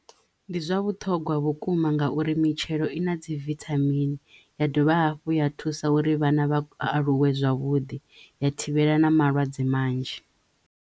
Ndi zwa vhuṱhogwa vhukuma ngauri mitshelo i na dzi vithamini ya dovha hafhu ya thusa uri vhana vha aluwe zwavhuḓi ya thivhela na malwadze manzhi.